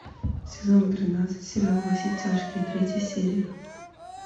сезон тринадцать сериал во все тяжкие третья серия